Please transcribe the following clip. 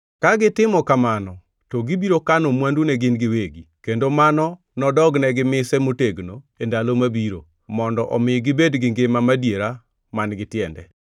Ka gitimo kamano to gibiro kano mwandu ne gin giwegi, kendo mano nodognegi mise motegno e ndalo mabiro, mondo omi gibed gi ngima madiera man-gi tiende.